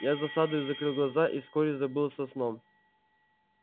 я с досадою закрыл глаза и вскоре забылся сном